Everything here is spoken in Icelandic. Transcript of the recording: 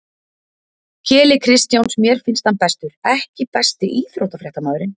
Keli Kristjáns mér finnst hann bestur EKKI besti íþróttafréttamaðurinn?